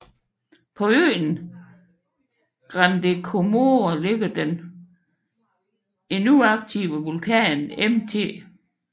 På øen Grande Comore ligger den endnu aktive vulkan Mt